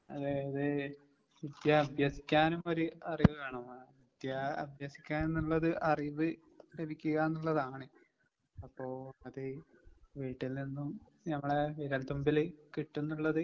അതെ അതെ വിദ്യ അഭ്യസിക്കാനും ഒരു അറിവ് വേണം. വിദ്യ അഭ്യസിക്കാ എന്നുള്ളത് അറിവ് ലഭിക്കുക എന്നുള്ളതാണ് അപ്പോ അത് വീട്ടിൽ നിന്നും ഞമ്മളെ വിരൽത്തുമ്പില് കിട്ടുംന്നുള്ളത്